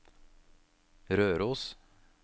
Røros